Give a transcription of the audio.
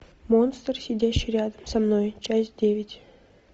монстр сидящий рядом со мной часть девять